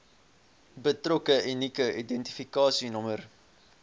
betrokke unieke identifikasienommer